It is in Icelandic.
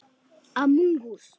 Þú ert.